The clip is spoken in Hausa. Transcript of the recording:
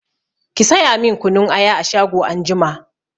Ki saya min kunun aya a shago anjima!